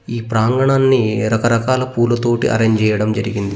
ఈ ప్రాంగణాన్ని రకరకాల పూలతోటి అరేంజ్ చేయడం జరిగింది.